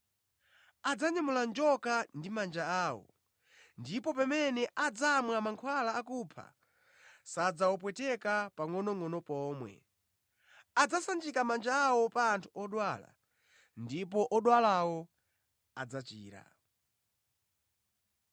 adzanyamula njoka ndi manja awo; ndipo pamene adzamwa mankhwala akupha, sadzawapweteka nʼpangʼonongʼono pomwe; adzasanjika manja awo pa anthu odwala ndipo odwalawo adzachira.”